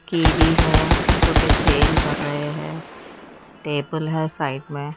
kiwi है जोकि sale कर रहे हैं टेबल है साइड में--